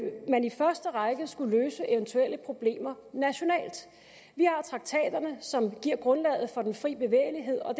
man i første række vil skulle løse eventuelle problemer nationalt vi har traktaterne som giver grundlaget for den fri bevægelighed og